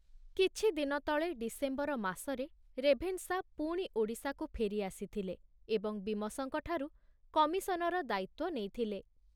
କିଛିଦିନ ତଳେ ଡିସେମ୍ବର ମାସରେ ରେଭେନଶା ପୁଣି ଓଡ଼ିଶାକୁ ଫେରି ଆସିଥିଲେ ଏବଂ ବୀମସଙ୍କଠାରୁ କମିଶନର ଦାୟିତ୍ବ ନେଇଥିଲେ।